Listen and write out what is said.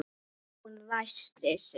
Jón ræskti sig.